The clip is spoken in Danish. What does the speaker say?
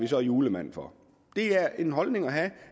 julemand for det er en holdning at have